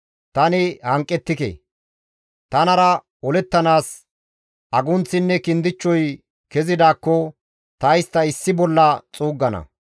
Tani hanqettike; tanara olettanaas agunththinne kindichchoy kezidaakko ta istta issi bolla xuuggana!